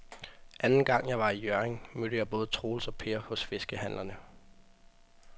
Anden gang jeg var i Hjørring, mødte jeg både Troels og Per hos fiskehandlerne.